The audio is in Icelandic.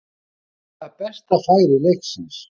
Klárlega besta færi leiksins.